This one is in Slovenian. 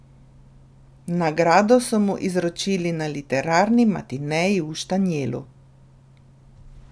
Nagrado so mu izročili na literarni matineji v Štanjelu.